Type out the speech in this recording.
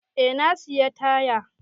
Eh na sayi taya.